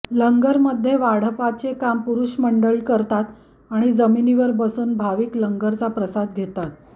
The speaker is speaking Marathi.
लंगर मध्ये वाढपाचे काम पुरुष मंडळी करतात आणि जमिनीवर बसून भाविक लंगरचा प्रसाद घेतात